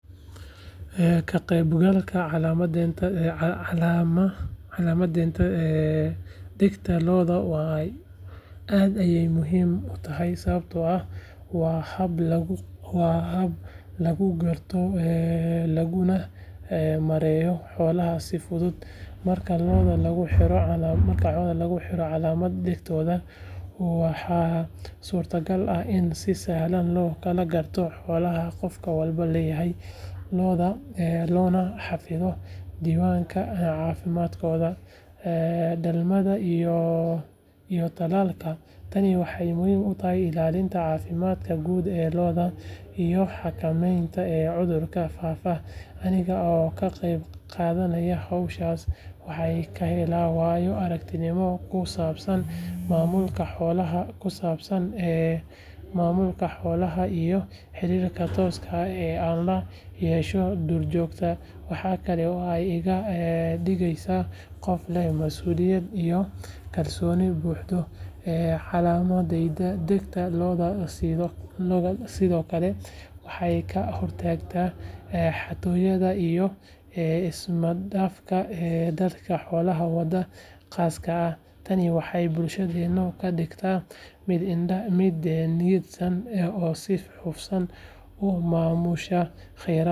Ka qaybgalka calaamadeynta dhegaha lo’da aad ayuu muhiim ii yahay sababtoo ah waa hab lagu garto laguna maareeyo xoolaha si fudud. Marka lo’da lagu xiro calaamado dhegahooda, waxaa suurtagal ah in si sahlan loo kala garto xoolaha qof walba leeyahay, loona xafido diiwaanka caafimaadkooda, dhalmada iyo tallaalka. Tani waxay muhiim u tahay ilaalinta caafimaadka guud ee lo’da iyo xakameynta cudurrada faafa. Aniga oo ka qayb qaadanaya howlahaas, waxaan ka helaa waayo-aragnimo ku saabsan maamulka xoolaha iyo xiriirka tooska ah ee aan la yeesho duurjoogta. Waxa kale oo ay iga dhigeysaa qof leh masuuliyad iyo kalsooni bulsho. Calaamadeynta dhegaha lo’da sidoo kale waxay ka hortagtaa xatooyada iyo ismaandhaafka dadka xoolaha wada daaqsada. Tani waxay bulshadeena ka dhigtaa mid nidaamsan oo si hufan u maamusha khayraadkeeda.